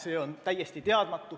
See on täiesti teadmata.